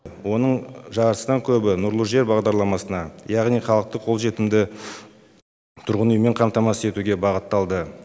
оның жартысынан көбі нұрлы жер бағдарламасына яғни халықты қолжетімді тұрғын үймен қамтамасыз етуге бағытталды